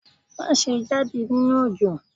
Maṣe jade ninu òjò!